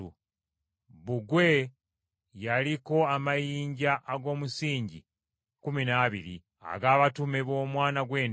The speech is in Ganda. Bbugwe yaliko amayinja ag’omusingi kkumi n’abiri ag’abatume b’Omwana gw’Endiga.